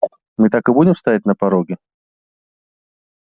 мы так и будем стоять на пороге